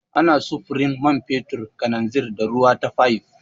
Ana sufurin man fetur, kananzir, da ruwa ta fayif.